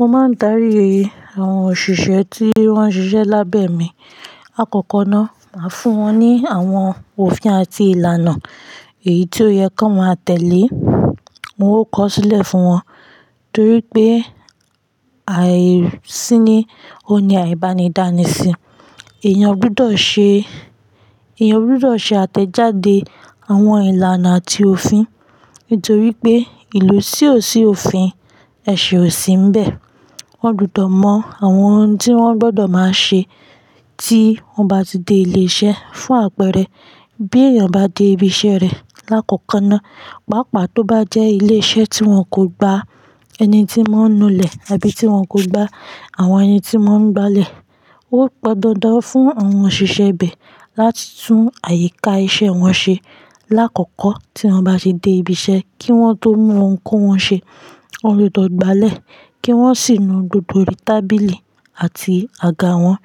Mo máa ń darí i, àwọn òṣìṣẹ́ tí wọ́n ń ṣiṣẹ́ lábẹ́ mi. Lakọ́kọ́ náà, màá fún wọn ní àwọn òfin àti ìlànà èyí tó yẹ kó máa tẹ̀lé. Mo ó kọ sílẹ̀ fún wọn, torí pé àìsí ní, ó ní àìbánidánisin. Ẹ̀yàn gbọdọ̀ ṣe, ẹ̀yàn gbọdọ̀ ṣe àtẹ̀jáde àwọn ìlànà àti òfin. Nítorí pé ìlú tí ò sí òfin, ẹ̀ṣẹ̀ ò sí ń bẹ. Wọ́n gbọdọ̀ mọ àwọn ohun tí wọ́n gbọdọ̀ máa ṣe tí wọ́n bá ti dé ilé iṣẹ́ fún àpẹẹrẹ bí èèyàn bá dé ibi iṣẹ́ rẹ̀ láàkọ́kọ́ náà, pàápàá tó bá jẹ́ ilé iṣẹ́ tí wọn kò gba ẹni tí wọ́n ń nulẹ̀ àbí tí wọn kò gba àwọn ẹni tí mọ́ ń gbálẹ̀. Ó pọn dandan fún àwọn òṣìṣẹ́ ibẹ̀ láti tún àyíká iṣẹ́ wọn ṣe. Láàkọ́kọ́ tí wọ́n bá ṣe dé ibi iṣẹ́ kí wọ́n tó mú ohun kó wọn ṣe, wọn gbọdọ̀ gbálẹ̀ kí wọ́n sì nu gbogbo orí tábìlì àti àga wọn.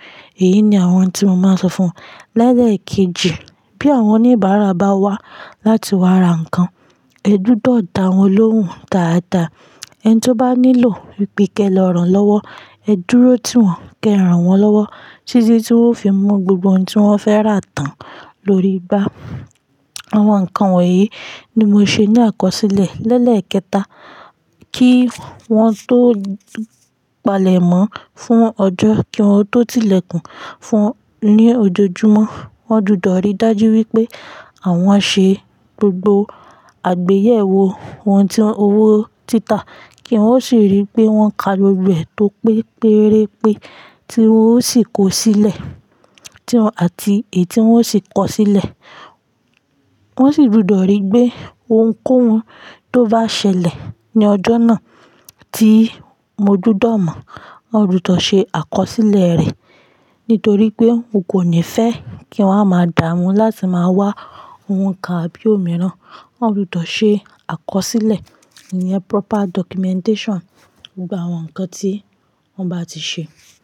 Èyí ni àwọn ohun tí mo máa sọ fún wọn. Lẹ́ẹ̀kejì, bí àwọn oníbàárà bá wá láti wá ra nǹkan, ẹ gbọdọ̀ dá wọn lóhùn dáadáa. Ẹni tí ó bá nílò wipe ke ran lọ́wọ́, ẹ dúró tí wọn, ké ran wọn lọ́wọ́, títí tí wọn ó fi mú gbogbo ohun tí wọ́n fẹ́ rà tán lórí igbà. Àwọn nǹkan wọ̀nyí ni mo ṣe ní àkọsílẹ̀. Lẹ́ẹ̀kẹta, kí wọ́n tó palẹ̀ mọ́ fún ọjọ́ kí wọ́n tó ti ilẹ̀kùn fún un ní ojoojúmọ́, wọ́n gbọdọ̀ ríi dájú wípé àwọn ṣe gbogbo àgbéyẹ̀wò ohun tí owó títà kí wọ́n sì ríi pé wọ́n ka gbogbo e tó pé péré pé tí wọn ó sì kó sílẹ̀, tí wọn, àti èyí tí wọn ó sì kọ sílẹ̀. Wọn sì gbudọ̀ ríi pé ohun kó hun tó bá ṣẹlẹ̀ ní ọjọ́ náà tí mo gbudọ̀ mọ̀, wọ́n gbudọ̀ ṣe àkọsílẹ̀ rẹ̀. Nítorí pé mo kò ní fẹ́ kí wọ́n a máa dá wọn láti máa wá ohun kan àbí òmíràn. Èyí ni àwọn ohun tí mo máa sọ fún wọn. Lẹ́ẹ̀kejì, bí àwọn oníbàárà bá wá láti wá ra nǹkan, ẹ gbọdọ̀ dá wọn lóhùn dáadáa.